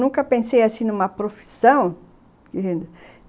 Nunca pensei assim numa profissão.